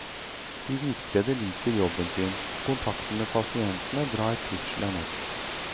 De hvitkledde liker jobben sin, og kontakten med pasientene drar trivselen opp.